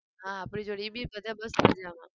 હા આપણી જોડે એ બી બધા મસ્ત મજામાં.